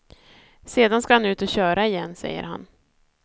Sedan ska han ut och köra igen, säger han.